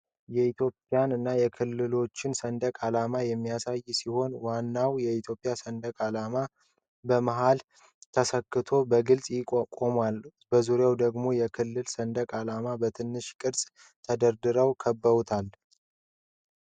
ኢትዮጵያን እና የክልሎችን ሰንደቅ ዓላማዎች የሚያሳይ ሲሆን፣ ዋናው የኢትዮጵያ ሰንደቅ ዓላማ በመሃል ተሰክሎ በግልጽ ቆሟል። በዙሪያው ደግሞ የክልል ሰንደቅ ዓላማዎች በትንሽ ቅርፅ ተደርድረው ከበውታል።